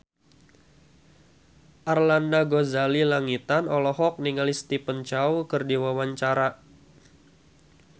Arlanda Ghazali Langitan olohok ningali Stephen Chow keur diwawancara